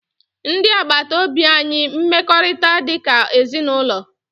Ndị agbata obi anyị mekọrịtara dị ka ezinụlọ